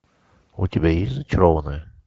у тебя есть зачарованные